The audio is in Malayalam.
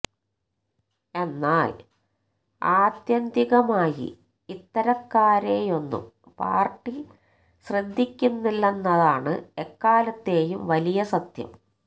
എന്നാല് ആത്യന്തികമായി ഇത്തരക്കാരെയൊന്നും പാര്ട്ടി ശ്രദ്ധിക്കില്ലെന്നതാണ് എക്കാലത്തെയും വലിയ സത്യം